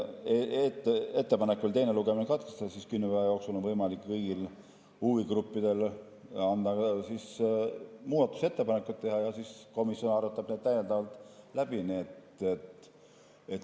Aga kuna ettepanek oli teine lugemine katkestada, siis kümne päeva jooksul on võimalik kõigil huvigruppidel teha veel muudatusettepanekuid ja siis komisjon arutab need täiendavalt läbi.